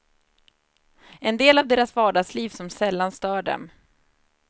En del av deras vardagsliv som sällan stör dem.